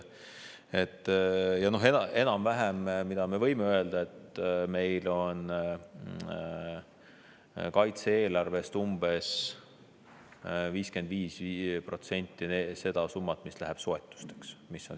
Ja enam-vähem seda me võime öelda, et meil on kaitse-eelarvest umbes 55% see summa, mis läheb soetusteks.